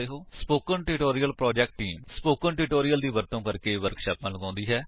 spoken tutorial project team spoken tutorial ਦਾ ਵਰਤੋ ਕਰਕੇ ਵਰਕਸ਼ਾਪਾਂ ਲਗਾਉਂਦੀ ਹੈ